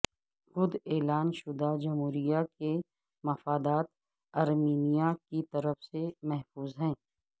خود اعلان شدہ جمہوریہ کے مفادات ارمینیا کی طرف سے محفوظ ہیں